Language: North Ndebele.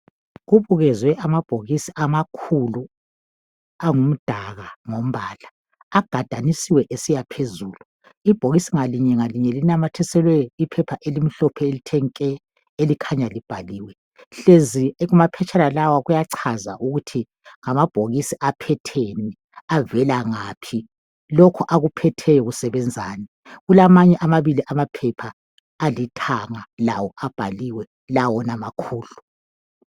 kubukezwe amabhokisi amakhulu angumdaka agadanisiwe esiya phezulu ibhokisi ngalinye ngalinye linamathiselwe iphepha elimhlophe elithe nke elikhanya libhaliwe hlezi kumaphetshana wonalawa kuyachaza ukuthi amabhokisi aphetheni avela ngaphi lokhu akuphetheyo kusebenzani kulamanye amabili amaphepha alithanga lawo abhaliwe la wona makhulu